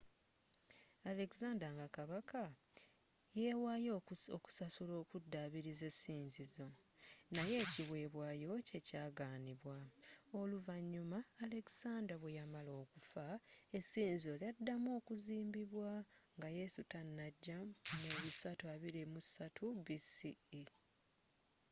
alexander nga kabaka yewaayo okusasula okudaabiriza essinzizo naye ekiwebwayo kye kyagaanibwa oluvanyuma alexander bweyamala okufa essinzizo lyaddamu okuzimbibwa nga yesu tanajja mu 323 bce